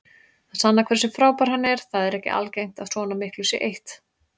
Það sannar hversu frábær hann er, það er ekki algengt að svona miklu sé eytt.